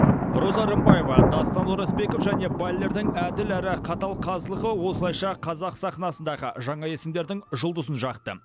роза рымбаева дастан оразбеков және баллердің әділ әрі қатал қазылығы осылайша қазақ сахнасындағы жаңа есімдердің жұлдызын жақты